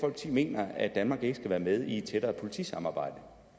mener at danmark ikke skal være med i et tættere politisamarbejde